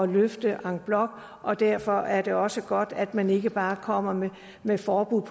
løfte en bloc og derfor er det også godt at man ikke bare kommer med med forbud